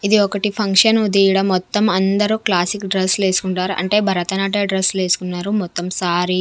ఇది ఒకటి ఫంక్షన్ తీయడం మొత్తం అందరూ క్లాసిక్ డ్రెస్ లు వేసుకుంటారు అంటే భరతనాట్య డ్రెస్ లు వేసుకున్నారు మొత్తం సారీ .